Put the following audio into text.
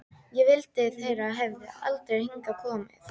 Ég vildi þeir hefðu aldrei hingað komið.